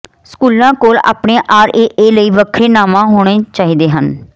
ਸਕੂਲਾਂ ਕੋਲ ਆਪਣੇ ਆਰਏਏ ਲਈ ਵੱਖਰੇ ਨਾਵਾਂ ਹੋਣੇ ਚਾਹੀਦੇ ਹਨ